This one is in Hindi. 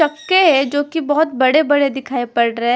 चक्के है जो की बहोत बड़े बड़े दिखाई पड़ रहे है।